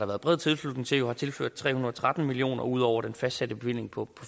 været bred tilslutning til har tilført tre hundrede og tretten million kroner ud over den fastsatte bevilling på